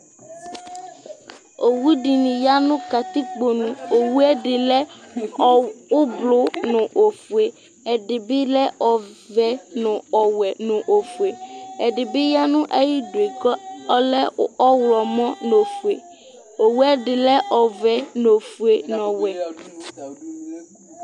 ɔwʋ dini yanʋ katikpɔ nʋ ɔwʋɛ di lɛ ɔblɔ nʋ ɔƒʋɛ, ɛdibi lɛ ɔvɛ nʋ ɔwɛ nʋ ɔƒʋɛ, ɛdibi yanʋ ayidʋɛ kʋ ɔlɛ ɔwlɔmɔ nʋ ɔƒʋɛ, ɔwʋɛ di lɛ ɔvɛ nʋ ɔƒʋɛ nʋ ɔwɛ